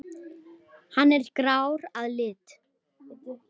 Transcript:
Hann er grár að lit.